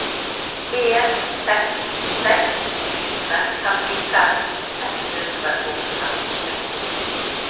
en seks seks fire femtifem ett hundre og femtiseks